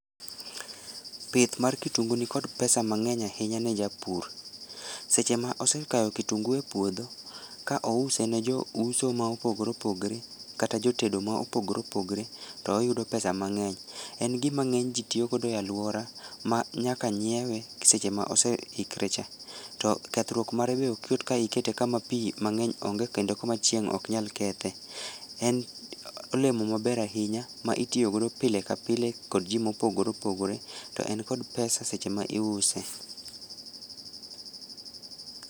Pith mar kitungu nikod pesa mangeny ahinya ne japur. Seche ma osekao kitungu e puohdo, ka ouse ne jouso mopogore opogore kata jotedo ma opogore opogore to oyudo pesa mangeny. En gima ngeny jii tiyo go e aluora ma nyaka ng'iewe seche ma oseikre cha. To kethruok mare be ok yot ka ikete kama pii mangeny onge kendo kama chieng' ok nyal kethe. En olemo maber ahinya ma itiyo go pile ka pile gi jii mopogore opogore kendo en kod pesa sech ema iuse